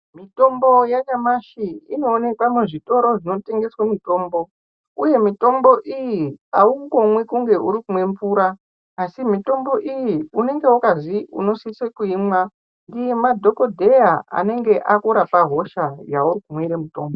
Mitombo yanyamashi inooneka muzvitoro zvinotengesa mitombo uye mitombo iyi aungomwi kunge ukumwa mvura asi mitombo iyi unenge wakazwi unosise ngemadhokodheya anenge akukurapa hosha yaukumwira mitombo.